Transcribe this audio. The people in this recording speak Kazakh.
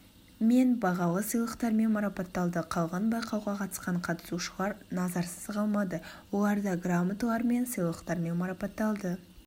мен бағалы сыйлықтармен марапатталды қалған байқауға қатысқан қатысушылар назарсыз қалмады оларда граматалар мен сыйлықтармен марапатталды